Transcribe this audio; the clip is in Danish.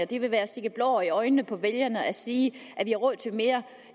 det vil være at stikke blår i øjnene på vælgere at sige at vi har råd til mere